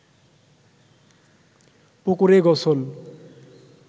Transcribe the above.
পুকুরে গোসল